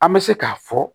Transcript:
An bɛ se k'a fɔ